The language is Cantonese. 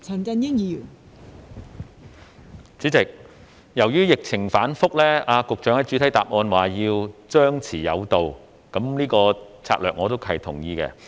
代理主席，由於疫情反覆，局長在主體答覆指要張弛有度的策略我是同意的。